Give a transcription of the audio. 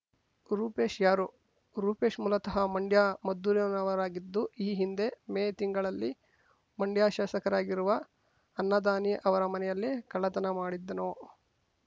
ರೂಪೇಶ್ ಯಾರು ರೂಪೇಶ್ ಮೂಲತಃ ಮಂಡ್ಯಮದ್ದೂರಿನವರಾಗಿದ್ದು ಈ ಹಿಂದೆ ಮೇ ತಿಂಗಳಲ್ಲಿ ಮಂಡ್ಯ ಶಾಸಕರಾಗಿರುವ ಅನ್ನದಾನಿ ಅವರ ಮನೆಯಲ್ಲಿ ಕಳ್ಳತನ ಮಾಡಿದ್ದನು